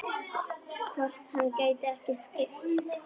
Hvort hann gæti ekki skipt?